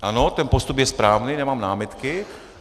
Ano, ten postup je správný, nemám námitky.